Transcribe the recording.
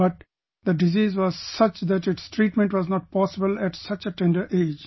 But the disease was such that its treatment was not possible at such a tender age